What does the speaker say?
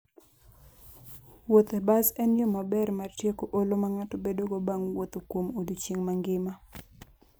Wuoth e bas en yo maber mar tieko olo ma ng'ato bedogo bang' wuotho kuom odiechieng' mangima.